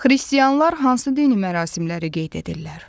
Xristianlar hansı dini mərasimləri qeyd edirlər?